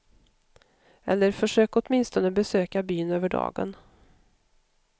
Eller försök åtminstone besöka byn över dagen.